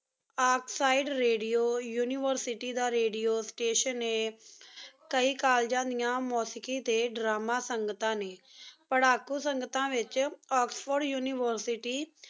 Oxide radio university ਦਾ radio station ਆਯ ਕਾਯੀ ਕੋਲ੍ਲੇਗਾਂ ਡਿਯਨ ਮੋਸਿਕ਼ੀ ਟੀ ਡ੍ਰਾਮਾ ਸੰਗਤਾਂ ਨੀ ਪਾਰ੍ਹਾਕੋ ਸੰਗਤਾਂ ਵਿਚ ਓਕ੍ਸ੍ਫੋਰਡ ਉਨਿਵੇਰ੍ਸਿਟੀ